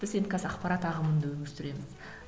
біз енді қазір ақпарат ағымында өмір сүреміз